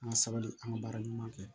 An ka sabali an ka baara ɲuman kɛ